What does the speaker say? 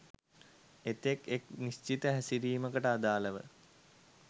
එතෙක් එක් නිශ්චිත හැසිරීමකට අදාලව